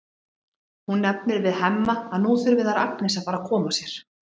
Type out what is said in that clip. Hún nefnir við Hemma að nú þurfi þær Agnes að fara að koma sér.